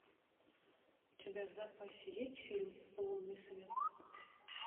у тебя в запасе есть фильм лунный свет